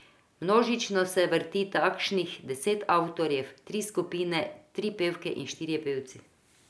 Množično se vrti kakšnih deset avtorjev, tri skupine, tri pevke in štirje pevci.